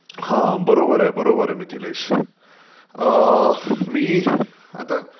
हा बरोबर आहे, बरोबर आहे मिथिलेश. मी आता